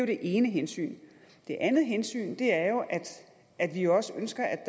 det ene hensyn det andet hensyn er jo at vi også ønsker at